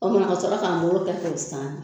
O mana ka sɔrɔ k'a mugu kɛ k'o saani